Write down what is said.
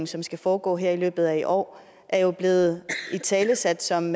som skal foregå her i løbet af i år er jo blevet italesat som